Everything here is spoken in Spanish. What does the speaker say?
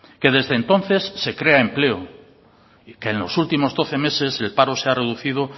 que desde entonces se crea empleo y que en los últimos doce meses el paro se ha reducido